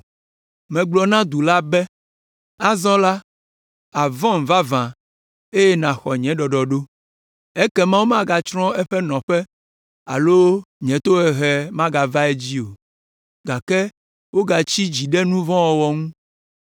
Megblɔ na du la be, ‘Azɔ la, àvɔ̃m vavã, eye nàxɔ nye ɖɔɖɔɖo!’ Ekema womagatsrɔ̃ eƒe nɔƒe alo nye tohehe magava edzi o, gake wogatsi dzi ɖe nu vɔ̃ wɔwɔ ŋu,